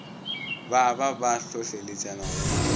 ba ba ba hlohleletšana go